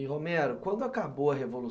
E, Romero, quando acabou a